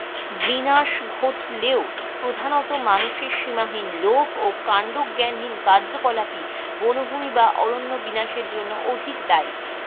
বিনাশ ঘটলেও প্রধানত মানুষের সীমাহীন লোভ ও কান্ডজ্ঞ্যানহীন কার্যকলাপই বনভূমি বা অরণ্য বিনাশের জন্য অধিক দায়ী.